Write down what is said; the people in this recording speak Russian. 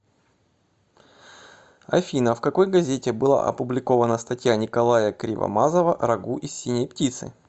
афина в какой газете была опубликована статья николая кривомазова рагу из синей птицы